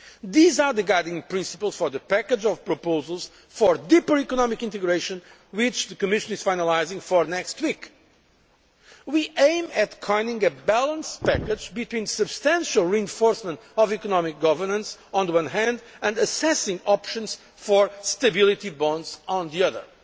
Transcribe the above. Union. These are the guiding principles for the package of proposals for deeper economic integration which the Commission is finalising for next week. We aim to find a package with the right balance between substantial reinforcement of economic governance, on the one hand, and assessing options for stability bonds, on the